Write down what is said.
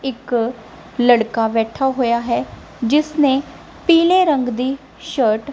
ਇੱਕ ਲੜਕਾ ਬੈਠਾ ਹੋਇਆ ਹੈ ਜਿਸ ਨੇ ਪੀਲੇ ਰੰਗ ਦੀ ਸ਼ਰਟ --